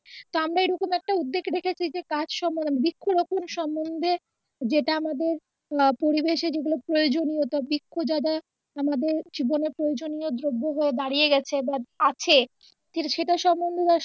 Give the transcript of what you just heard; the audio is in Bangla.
তো আমরা এইরকম একটা উদ্দ্যেগ রেখেছি যে কাজ সম্বন্ধে বৃক্ষ রোপন সম্বন্ধে যেটা আমাদের আহ পরিবেশে যেগুলো প্রয়োজনীয় তো বৃক্ষ দ্বারা আমাদের জীবনে প্রয়োজনীয় দ্রব্য হয়ে দাঁড়িয়ে গেছে বা আছে সেটা সম্বন্ধে